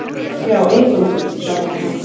Já, eingöngu, svaraði hann.